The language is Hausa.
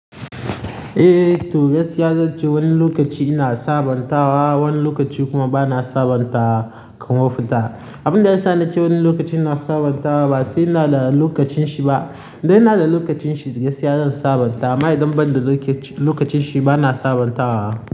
Eh, to gaskiya zan ce wani lokaci ina sabanta wa, wani lokaci kuma ba na sabanta ba kan mafita. Abin da ya sa na ce wani lokaci na sabanta ba sai na da lokacin shi ba. Idan ina da lokacin shi gaskiya zan sabanta. Amma idan ban da lokacin shi ba na sabanta wa.